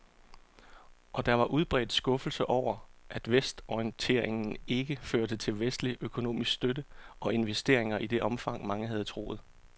Og der var udbredt skuffelse over, at vestorienteringen ikke førte til vestlig økonomisk støtte og investeringer i det omfang, mange havde troet.